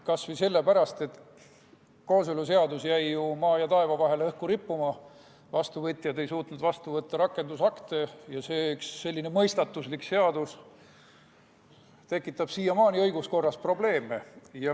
Kas või sellepärast, et kooseluseadus jäi ju maa ja taeva vahele õhku rippuma, vastuvõtjad ei suutnud vastu võtta rakendusakte ja selline mõistatuslik seadus tekitab siiamaani õiguskorras probleeme.